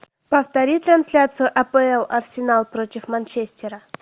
повтори трансляцию апл арсенал против манчестера